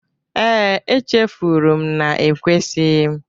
Ee, e chefuru m na ekwesighi m.